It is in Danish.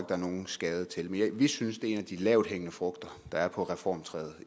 er nogen skade til men vi synes at det er en af de lavthængende frugter der er på reformtræet